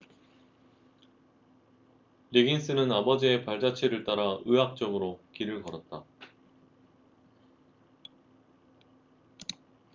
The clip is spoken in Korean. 리긴스는 아버지의 발자취를 따라 의학 쪽으로 길을 걸었다